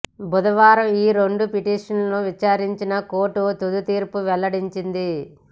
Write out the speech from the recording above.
బుధవారం ఈ రెండు పిటిషన్లను విచారించిన కోర్టు తుది తీర్పు వెల్లడించింది